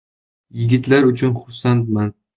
Yigitlar uchun xursandman.